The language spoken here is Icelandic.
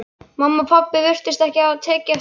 Mamma og pabbi virtust ekki hafa tekið eftir neinu.